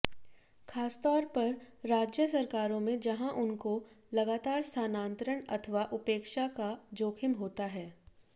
खासतौर पर राज्य सरकारों में जहां उनको लगातार स्थानांतरण अथवा उपेक्षा का जोखिम होता है